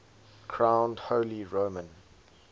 crowned holy roman